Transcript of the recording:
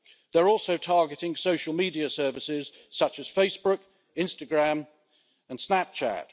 They are also targeting social media services, such as Facebook, Instagram and Snapchat.